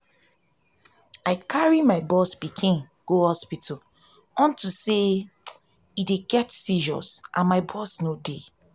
i carry my boss pikin go hospital unto say he dey get seizure and my boss no dey